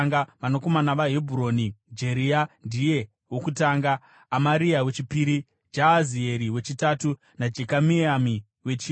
Vanakomana vaHebhuroni: Jeria ndiye wokutanga, Amaria wechipiri, Jahazieri wechitatu naJekameami wechina.